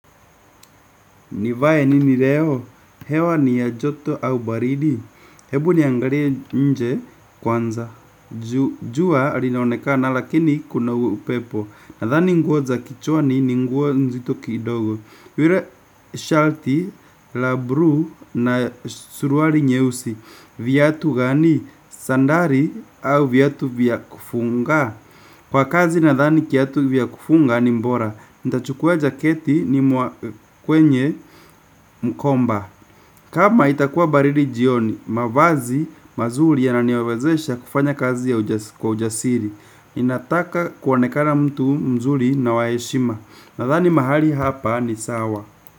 Nivae nini leo? Hewa ni ya joto au baridi? Hebu niangalie nje kwanza. Jua linaonekana lakini kuna upepo. Nadhani nguo za kichwa ni nguo nzito kidogo. Rile shalti la bru na suruari nyeusi. Viatu gani? Sandari au viatu vya kufunga? Kwa kazi nadhani kiatu vya kufunga ni mbora. Nitachukua jaketi ni kwenye mkomba. Kama itakuwa baridi jioni mavazi mazuri yananiwezesha kufanya kazi kwa ujasiri. Nataka kuonekana mtu mzuri na wa heshima. Nadhani mahali hapa ni sawa.